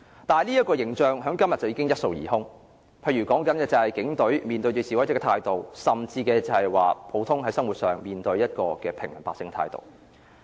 但這形象在今天已經一掃而空，例如說警隊面對示威者的態度，甚至是普通生活上面對平民百姓的態度。